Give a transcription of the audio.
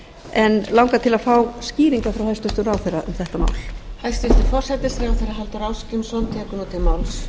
en langar til að fá skýringar frá hæstvirtum ráðherra um þetta mál